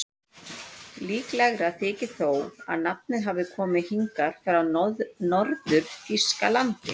Líklegra þykir þó að nafnið hafi komið hingað frá Norður-Þýskalandi.